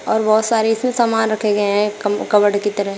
और बहोत सारे इसमें सामान रखे गए हैं कम कबड की तरह।